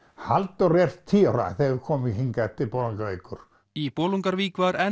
Halldóra er tíu ára þegar við komum hingað til Bolungarvíkur í Bolungarvík var enn